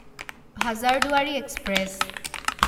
Hazarduari express